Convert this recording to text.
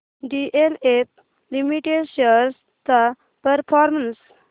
DLF limited shares चा performance